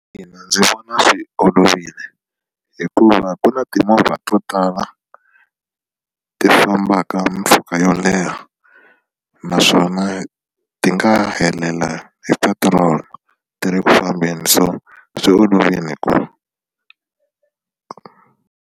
Ina ndzi vona swi olovile hikuva ku na timovha to tala ti fambaka mpfhuka yo leha naswona ti nga helela hi petrol ti ri ku fambeni so swi olovile .